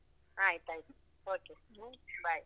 ಆಯ್ತು ಆಯ್ತು, okay hmm bye.